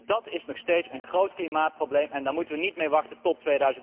Dat is nog steeds een groot klimaatprobleem en we moeten er niet mee wachten tot